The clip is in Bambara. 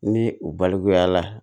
Ni u balimayala